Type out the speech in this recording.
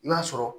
N'a sɔrɔ